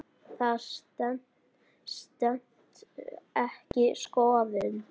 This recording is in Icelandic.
Það stenst ekki skoðun.